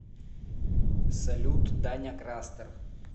салют даня крастер